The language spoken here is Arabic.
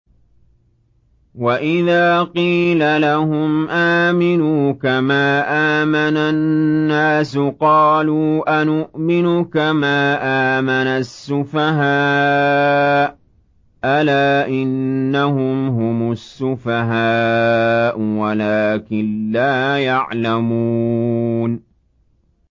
وَإِذَا قِيلَ لَهُمْ آمِنُوا كَمَا آمَنَ النَّاسُ قَالُوا أَنُؤْمِنُ كَمَا آمَنَ السُّفَهَاءُ ۗ أَلَا إِنَّهُمْ هُمُ السُّفَهَاءُ وَلَٰكِن لَّا يَعْلَمُونَ